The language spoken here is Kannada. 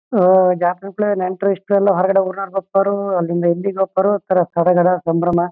ಇಲ್ಲಿ ಮಹಿ ಮಹಿಳೆಯರು ಮತ್ತು ಪುರುಷರು ಬಂದಿದ್ದಾರೆ.